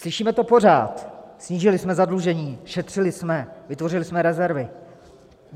Slyšíme to pořád - snížili jsme zadlužení, šetřili jsme, vytvořili jsme rezervy.